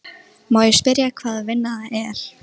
Má ég spyrja hvaða vinna það er?